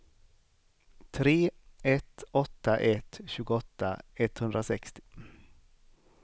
tre ett åtta ett tjugoåtta etthundrasextio